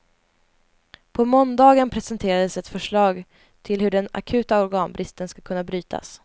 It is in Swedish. På måndagen presenterades ett förslag till hur den akuta organbristen ska kunna brytas.